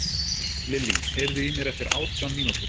Lillí, heyrðu í mér eftir átján mínútur.